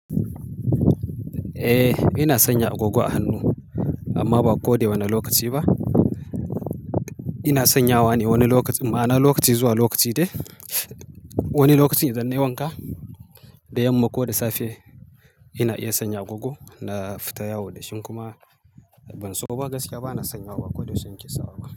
Eh ina sanya agogo a hannu amma ba koda wanne lokaci ba. Ina sanyawa ne wani lokacinma, ma'ana lokaci zuwa lokaci dai. Wani lokaci idan nayi wanka da yamma ko da safe. Ina iya sanya agogo na fita yawo dashi in kuma banso ba gaskiya bana sanyawa ba koda yaushe nake sawa ba.